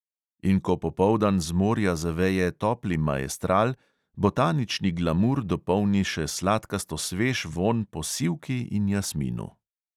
In ko popoldan z morja zaveje topli maestral, botanični glamur dopolni še sladkasto svež vonj po sivki in jasminu.